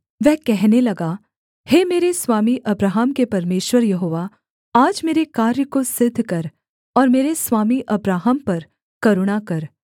वह कहने लगा हे मेरे स्वामी अब्राहम के परमेश्वर यहोवा आज मेरे कार्य को सिद्ध कर और मेरे स्वामी अब्राहम पर करुणा कर